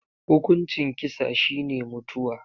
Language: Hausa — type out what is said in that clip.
Hukuncin kisa shi ne mutuwa.